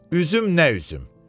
Üzüm nə üzüm!